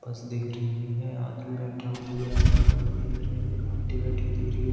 बस दिख रही है। आदमी बैठा हुआ दिख रहा है। खड़े हुए दिख रहे हैं। एक आंटी बैठी हुई दिख रही है।